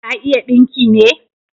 Ta iya dinki ne?